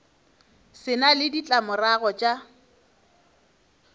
se na le ditlamorago tša